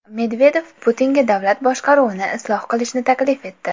Medvedev Putinga davlat boshqaruvini isloh qilishni taklif etdi.